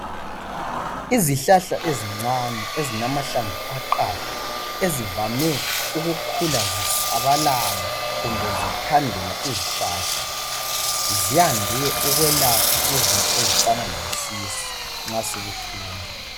izihlahla ezincane ezilamahlamvu aqatha ezivame ukukhula zisabalala kumbe zithandela izihlahla ziyande ukwelapha izinto ezifana lesisu nxa sibuhlungu